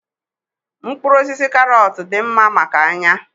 Mkpụrụ osisi karọt dị mma maka anya